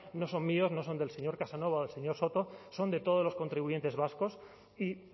no son míos no son del señor casanova o del señor soto son de todos los contribuyentes vascos y